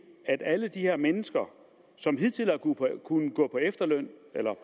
at alle de her mennesker som hidtil har kunnet gå på efterløn eller